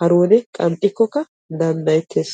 haroode qanxxetees.